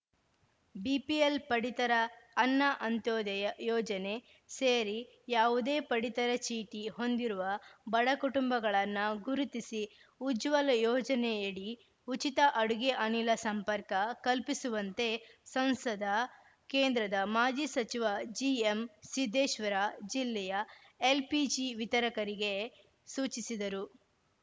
BPL ಪಡಿತರ ಅನ್ನ ಅಂತ್ಯೋದಯ ಯೋಜನೆ ಸೇರಿ ಯಾವುದೇ ಪಡಿತರ ಚೀಟಿ ಹೊಂದಿರುವ ಬಡ ಕುಟುಂಬಗಳನ್ನ ಗುರುತಿಸಿ ಉಜ್ವಲ ಯೋಜನೆಯಡಿ ಉಚಿತ ಅಡುಗೆ ಅನಿಲ ಸಂಪರ್ಕ ಕಲ್ಪಿಸುವಂತೆ ಸಂಸದ ಕೇಂದ್ರದ ಮಾಜಿ ಸಚಿವ ಜಿಎಂಸಿದ್ದೇಶ್ವರ ಜಿಲ್ಲೆಯ ಎಲ್‌ಪಿಜಿ ವಿತರಕರಿಗೆ ಸೂಚಿಸಿದರು